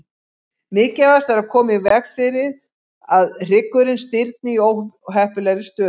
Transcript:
Mikilvægast er að koma í veg fyrir að hryggurinn stirðni í óheppilegri stöðu.